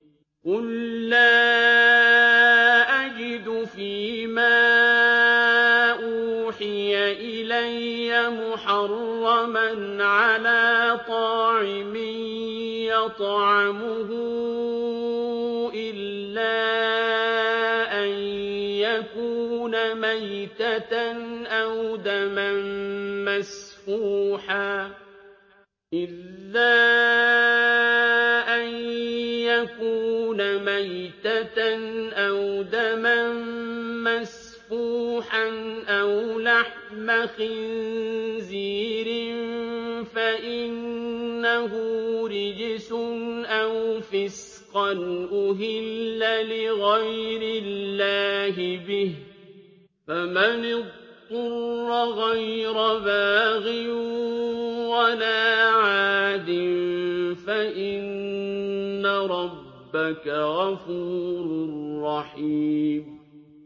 قُل لَّا أَجِدُ فِي مَا أُوحِيَ إِلَيَّ مُحَرَّمًا عَلَىٰ طَاعِمٍ يَطْعَمُهُ إِلَّا أَن يَكُونَ مَيْتَةً أَوْ دَمًا مَّسْفُوحًا أَوْ لَحْمَ خِنزِيرٍ فَإِنَّهُ رِجْسٌ أَوْ فِسْقًا أُهِلَّ لِغَيْرِ اللَّهِ بِهِ ۚ فَمَنِ اضْطُرَّ غَيْرَ بَاغٍ وَلَا عَادٍ فَإِنَّ رَبَّكَ غَفُورٌ رَّحِيمٌ